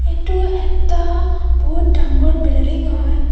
এইটো এটা বহুত ডাঙৰ বিলডিং হয়.